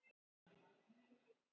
Og faðir hans?